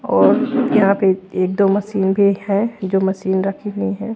और यहां पर एक दो मशीन भी है जो मशीन रखी गई है।